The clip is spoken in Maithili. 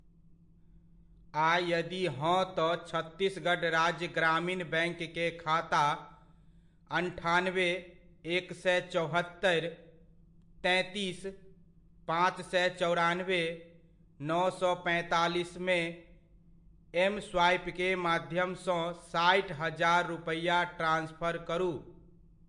आ यदि हँ तऽ छत्तीसगढ़ राज्य ग्रामीण बैङ्क के खाता अन्ठानबे, एक सए चौहत्तरि, तैंतीस, पांँच सए चौरानबे, नओ सए पैंतालिसमे, एम स्वाइपके माध्यमसँ साठि हजार रुपैआ ट्रांसफर करू।